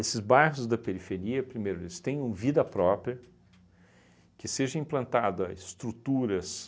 bairros da periferia, primeiro, eles tenham vida própria que seja implantada estruturas